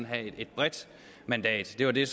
have et bredt mandat det var det